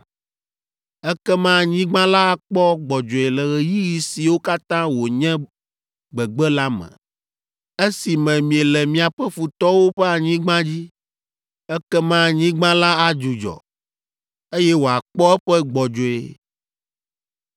Ekema anyigba la akpɔ gbɔdzɔe le ɣeyiɣi siwo katã wònye gbegbe la me, esime miele miaƒe futɔwo ƒe anyigba dzi, ekema anyigba la adzudzɔ, eye wòakpɔ eƒe gbɔdzɔe.